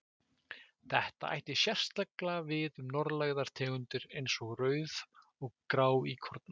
Þetta ætti sérstaklega við um norðlægar tegundir eins og rauð- og gráíkorna.